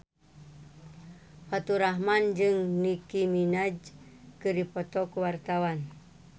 Faturrahman jeung Nicky Minaj keur dipoto ku wartawan